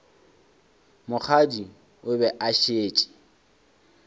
mokgadi o be a šetše